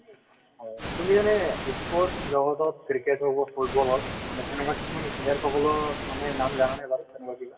তুমি এনেই sports জগতত ক্ৰিকেট হওঁক বা ফুটব'ল হওঁক মানে player সকলৰ নাম জানানে বাৰু তেনেকুৱা কিবা ?